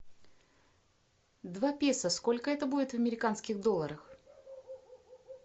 два песо сколько это будет в американских долларах